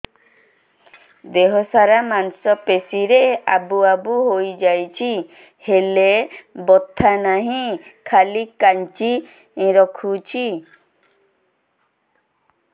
ଦେହ ସାରା ମାଂସ ପେଷି ରେ ଆବୁ ଆବୁ ହୋଇଯାଇଛି ହେଲେ ବଥା ନାହିଁ ଖାଲି କାଞ୍ଚି ରଖୁଛି